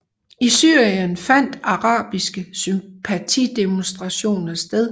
I Syrien fandt arabiske sympatidemonstrationer sted